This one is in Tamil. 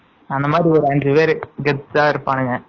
அந்தமாதிரி ஒரு அஞ்சு பேரு கெத்தா இருப்பானுங்க